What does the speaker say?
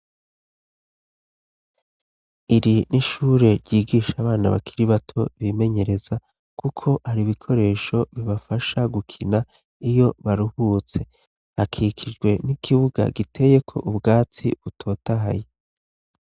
Iri n'ishure ryigisha abana bakiri bato bimenyereza kuko hari ibikoresho bibafasha gukina iyo baruhutse. Hakikijwe n'ikibuga giteyeko ubwatsi butotahaye.